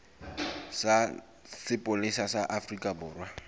sa sepolesa sa afrika borwa